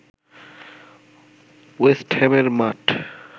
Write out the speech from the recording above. West হ্যামের মাঠ